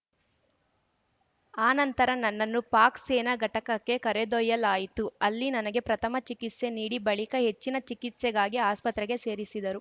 ಆ ನಂತರ ನನ್ನನ್ನು ಪಾಕ್‌ ಸೇನಾ ಘಟಕಕ್ಕೆ ಕರೆದೊಯ್ಯಲಾಯಿತು ಅಲ್ಲಿ ನನಗೆ ಪ್ರಥಮ ಚಿಕಿತ್ಸೆ ನೀಡಿ ಬಳಿಕ ಹೆಚ್ಚಿನ ಚಿಕಿತ್ಸೆಗಾಗಿ ಆಸ್ಪತ್ರೆಗೆ ಸೇರಿಸಿದರು